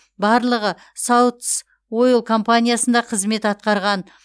барлығы саутс ойл компаниясында қызмет атқарған